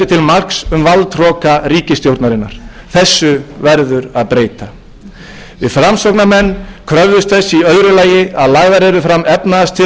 marks um valdhroka ríkisstjórnarinnar þessu verður að breyta við framsóknarmenn kröfðumst þess í öðru lagi að lagðar yrðu fram efnahagstillögur til að